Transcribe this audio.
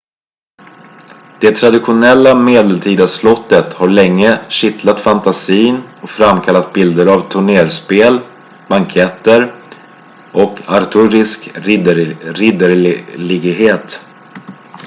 det traditionella medeltida slottet har länge kittlat fantasin och framkallat bilder av tornerspel banketter och arthurisk ridderlighet